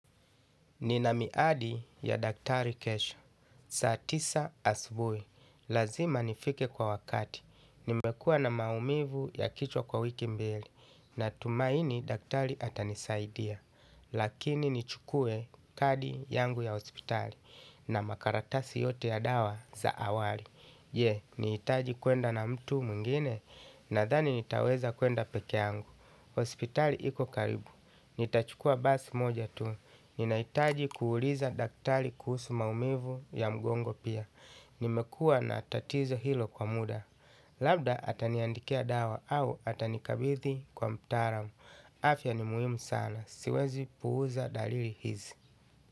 Nina miadi ya daktari kesho. Saa tisa asubui. Lazima nifike kwa wakati. Nimekuwa na maumivu ya kichwa kwa wiki mbili. Natumaini daktari atanisaidia. Lakini nichukue kadi yangu ya hospitali. Na makaratasi yote ya dawa za awali. Je, nihitaji kuenda na mtu mwengine nadhani nitaweza kuenda peke yangu. Hospitali iko karibu. Nitachukua basi moja tu. Ninahitaji kuuliza daktali kuhusu maumivu ya mgongo pia. Nimekuwa na tatizo hilo kwa mda. Labda ataniandikia dawa au atanikabidhi kwa mtaaramu. Afya ni muhimu sana. Siwezi puuza dalili hizi.